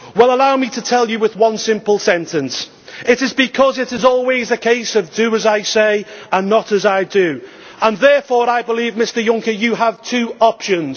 Allow me to tell you with one simple sentence it is because it is always a case of do as I say and not as I do', and therefore I believe, Mr Juncker, you have two options.